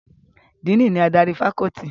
Díìnì ni adarí fakọ́ọ́tì.